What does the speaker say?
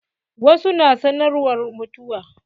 Wasu na sanarwar mutuwa.